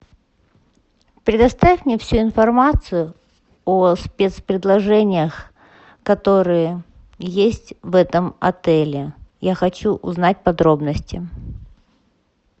предоставь мне всю информацию о спецпредложениях которые есть в этом отеле я хочу узнать подробности